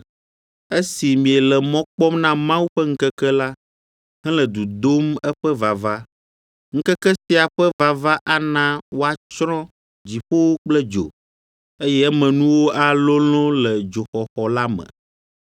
esi miele mɔ kpɔm na Mawu ƒe ŋkeke la, hele du dom eƒe vava. Ŋkeke sia ƒe vava ana woatsrɔ̃ dziƒowo kple dzo, eye emenuwo alolõ le dzoxɔxɔ la me.